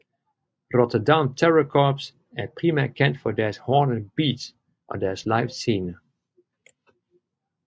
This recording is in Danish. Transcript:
Rotterdam Terror Corps er primært kendt for deres hårde beats og deres live scener